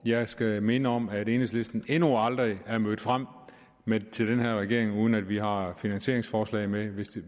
jeg skal minde om at enhedslisten endnu aldrig er mødt frem til den her regering uden at vi har haft finansieringsforslag med